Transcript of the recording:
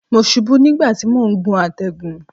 Mo ṣubú nígbà tí mò ń gun àtẹ̀gùn.